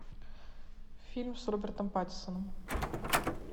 фильм с робертом паттинсоном